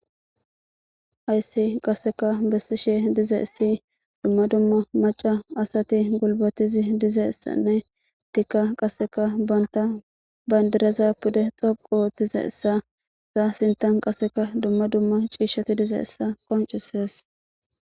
Hayssi qase besishe dizaysi,dumma dumma macca asati gulbate dizaysane qasseka banta bandira pude dhoqu histizaysane qasseka Enta sintha ciishati dizaysa qoncisees.